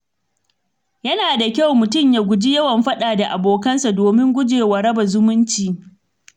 Yana da kyau mutum ya guji yawan faɗa da abokansa domin guje wa raba zumunci.